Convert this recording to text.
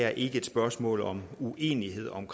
er et spørgsmål om uenighed om